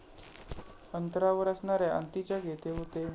अंतरावर असणाऱ्या अंतीचक येथे होते.